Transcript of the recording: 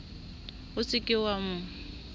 o se ke wa mo